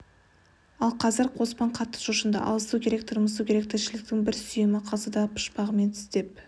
ал қазір қоспан қатты шошынды алысу керек тырмысу керек тіршіліктің бір сүйемі қалса да пұшпағынан тістеп